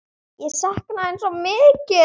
Ég sakna þín svo mikið!